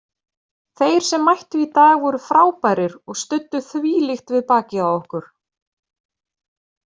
Þeir sem mættu í dag voru frábærir og studdu þvílíkt við bakið á okkur.